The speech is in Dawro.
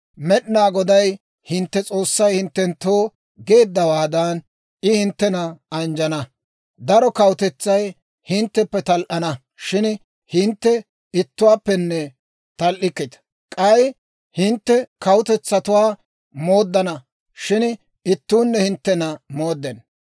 Med'inaa Goday hintte S'oossay hinttenttoo geeddawaadan, I hinttena anjjana; daro kawutetsay hintteppe tal"ana; shin hintte ittuwaappenne tal"ikkita. K'ay hintte kawutetsatuwaa mooddana, shin ittuunne hinttena mooddenna.